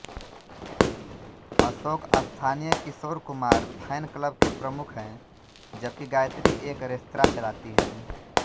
अशोक स्थानीय Kishore Kumar fan club के प्रमुख हैं जबकि गायत्री एक रेस्तरां चलाती हैं